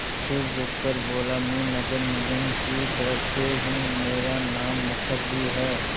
फिर रुककर बोला मैं नगर निगम की तरफ़ से हूँ मेरा नाम मुखर्जी है